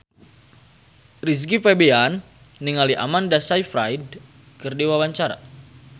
Rizky Febian olohok ningali Amanda Sayfried keur diwawancara